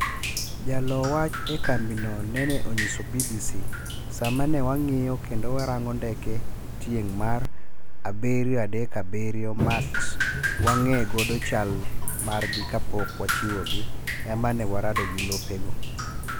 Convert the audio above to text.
Jaloo wach e kambino nene onyiso BBC: "Sama ne wang'iyo kendo warango ndeke tieng' mar 737 Max wang'e godo chlmargi kapok wachiwogi, emane warado gi lopego."